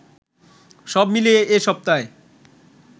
সবমিলিয়ে এ সপ্তায়